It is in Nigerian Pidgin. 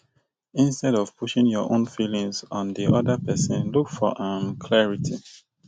instead of pusing your own feelings on di oda person look for um clarity